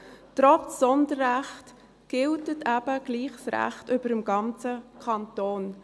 Trotz Sonderrecht gilt eben doch das Recht über dem ganzen Kanton.